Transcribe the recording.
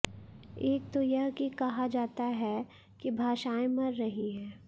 एक तो यह कि कहा जाता है कि भाषाएं मर रही हैं